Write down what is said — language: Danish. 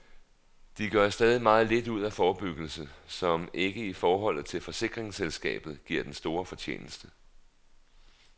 De gør stadig meget lidt ud af forebyggelse, som ikke i forholdet til forsikringsselskabet giver den store fortjeneste.